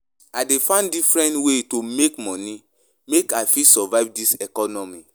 I dey find different ways to make moni make I fit survive dis economy.